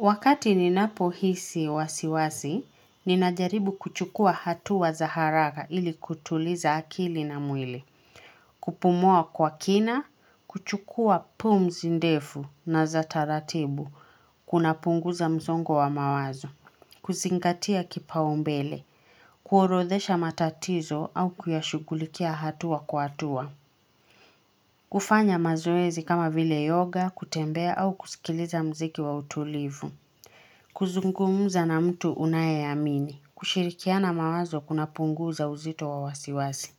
Wakati ninapo hisi wasiwasi, ninajaribu kuchukua hatu wa zaharaga ili kutuliza akili na mwili. Kupumua kwa kina, kuchukua pumu zindefu na za taratibu, kuna punguza mzongo wa mawazo, kuzingatia kipa umbele, kuorodhesha matatizo au kuyashugulikia hatu wa kuatua. Kufanya mazuezi kama vile yoga, kutembea au kusikiliza mziki wa utulivu. Kuzungumuza na mtu unaye amini, kushirikia na mawazo kuna punguza uzito wa wasiwasi